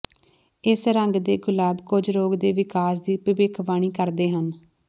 ਇਸ ਰੰਗ ਦੇ ਗੁਲਾਬ ਕੁਝ ਰੋਗ ਦੇ ਵਿਕਾਸ ਦੀ ਭਵਿੱਖਬਾਣੀ ਕਰਦੇ ਹਨ